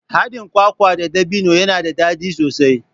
Haɗin kwakwa da ɗabino yana da daɗi sosai.